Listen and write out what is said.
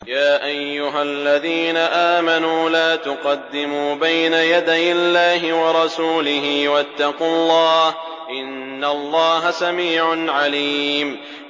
يَا أَيُّهَا الَّذِينَ آمَنُوا لَا تُقَدِّمُوا بَيْنَ يَدَيِ اللَّهِ وَرَسُولِهِ ۖ وَاتَّقُوا اللَّهَ ۚ إِنَّ اللَّهَ سَمِيعٌ عَلِيمٌ